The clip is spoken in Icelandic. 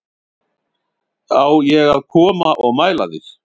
Á ég að koma og mæla þig